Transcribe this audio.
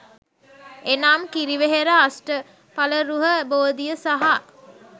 එනම්, කිරිවෙහෙර අෂ්ටඵලරුහ බෝධිය සහ